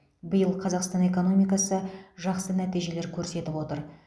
биыл қазақстан экономикасы жақсы нәтижелер көрсетіп отыр